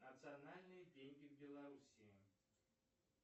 национальные деньги в белоруссии